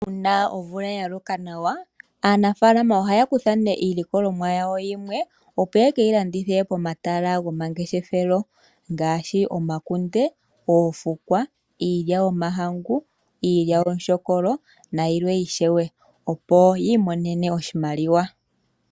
Uuna omvula ya loka nawa, aanafaalama ohaya longo iilikolomwa yawo yimwe, opo ye ke yi landithe pomahala gomangeshefelo ngaashi omakunde, oofukwa, iilya yOmahangu, iilyaalyaaka, nayilwe ishewe, opo yi imonene oshimaliwa.